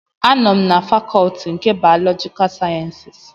Anọ m na fakọtị nke bayọlọjika sayensịs